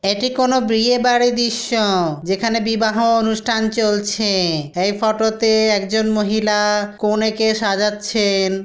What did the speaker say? এটি কোন বিয়ে বাড়ির দৃশ্য-ও-ও। যেখানে বিবাহ অনুষ্ঠান চলছে-এ। এই ফটো -তে একজন মহিলা-আ কনেকে সাজাচ্ছেন।